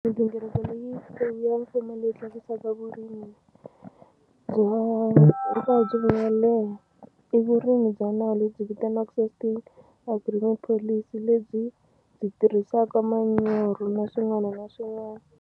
Migingiriko leyi ya mfumo leyi tlakusaka vurimi bya vuyelela i vurimi bya nawu lebyi vitaniwaka System Agreement Policy lebyi byi tirhisaka manyoro na swin'wana na swin'wana.